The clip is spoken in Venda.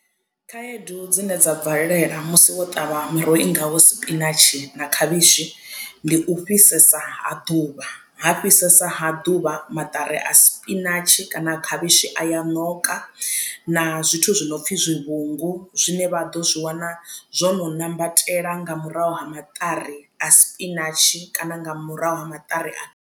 Khaedu dzine dza bvelela musi wo ṱavha miroho i ngaho sipinatshi na khavhishi ndi u fhisesa ha ḓuvha ha fhisesa ha ḓuvha maṱari a sipinatshi kana khavhishi a ya ṋoka na zwithu zwi no pfi zwivhungu zwine vha ḓo zwi wana zwo no ṋambatela nga murahu ha maṱari a sipinatshi kana nga murahu ha maṱari a.